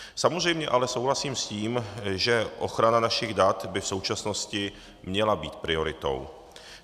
Samozřejmě ale souhlasím s tím, že ochrana našich dat by v současnosti měla být prioritou.